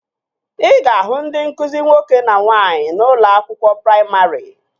Ị ga-ahụ ndị nkụzi nwoke na nwaanyị n'ụlọ akwụkwọ praimarị